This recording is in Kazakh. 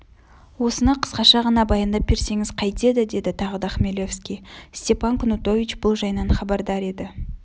осыны қысқаша ғана баяндап берсеңіз қайтеді деді тағы да хмелевский степан кнутович бұл жайынан хабардар еді